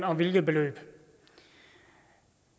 og hvilket beløb